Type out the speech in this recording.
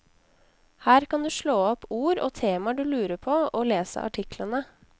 Her kan du slå opp ord og temaer du lurer på, og lese artiklene.